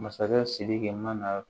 Masakɛ sidiki ma na